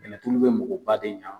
Kɛlɛturu ko mɔgɔ ba de ɲɛ.